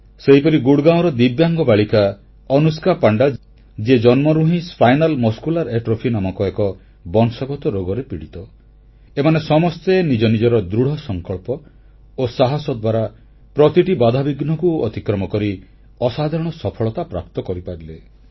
ସେହିପରି ଗୁଡ଼ଗାଁଓର ଦିବ୍ୟାଙ୍ଗ ବାଳିକା ଅନୁଷ୍କା ପାଣ୍ଡା ଯିଏ ଜନ୍ମରୁ ହିଁ ସ୍ପାଇନାଲ ମସ୍କୁଲାର ଆଟ୍ରୋଫି ନାମକ ଏକ ବଂଶଗତ ରୋଗରେ ପୀଡ଼ିତ ଏମାନେ ସମସ୍ତେ ନିଜ ନିଜର ଦୃଢ଼ସଂକଳ୍ପ ଓ ସାହସ ଦ୍ୱାରା ପ୍ରତିଟି ବାଧାବିଘ୍ନକୁ ଅତିକ୍ରମ କରି ଅସାଧାରଣ ସଫଳତା ପ୍ରାପ୍ତ କରିପାରିଲେ